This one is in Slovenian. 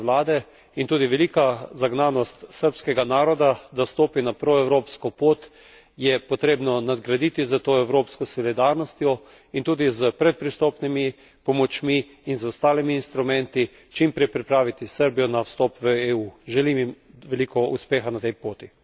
Prizadevanja sedanje vlade in tudi velika zagnanost srbskega naroda, da stopi na proevropsko pot, je potrebno nadgraditi s to evropsko solidarnostjo in tudi s predpristopnimi pomočmi in z ostalimi instrumenti čim prej pripraviti Srbijo na vstop v EU. Želim jim veliko uspeha na tej poti.